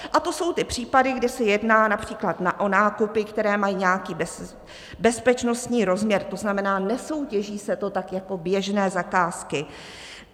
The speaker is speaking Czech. A to jsou ty případy, kdy se jedná například o nákupy, které mají nějaký bezpečnostní rozměr, to znamená, nesoutěží se to tak jako běžné zakázky.